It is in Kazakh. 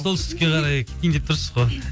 солтүстікке қарай кетейін деп тұрсыз ғой